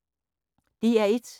DR1